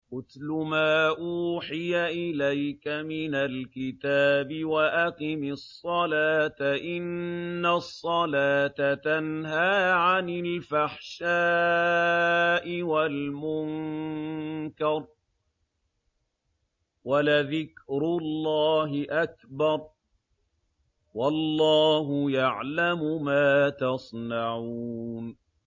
اتْلُ مَا أُوحِيَ إِلَيْكَ مِنَ الْكِتَابِ وَأَقِمِ الصَّلَاةَ ۖ إِنَّ الصَّلَاةَ تَنْهَىٰ عَنِ الْفَحْشَاءِ وَالْمُنكَرِ ۗ وَلَذِكْرُ اللَّهِ أَكْبَرُ ۗ وَاللَّهُ يَعْلَمُ مَا تَصْنَعُونَ